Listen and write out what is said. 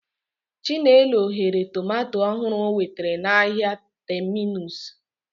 Chinelo ghere tomato ọhụrụ o nwetara n'ahịa Terminus.